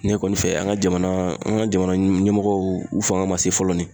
Ne kɔni fɛ an ka jamana, an ka jamana ɲɛmɔgɔw fanga ma se fɔlɔ nin